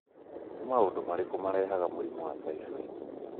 Nĩ maũndũ marĩkũ marehaga mũrimũ wa typhoid?